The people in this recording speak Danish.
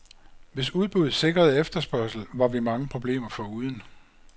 Hvis udbud sikrede efterspørgsel, var vi mange problemer foruden.